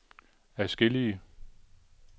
adskillige